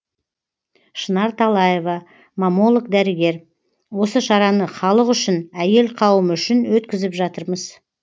шынар талаева маммолог дәрігер осы шараны халық үшін әйел қауымы үшін өткізіп жатырмыз